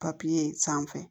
papiye sanfɛ